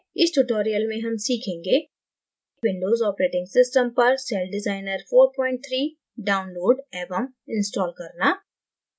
इस tutorial में हम सीखेंगें : windows operating system पर celldesigner 43 download एवं install करना